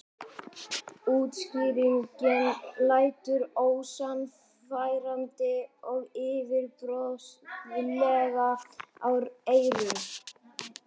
Útskýringin lætur ósannfærandi og yfirborðslega í eyrum.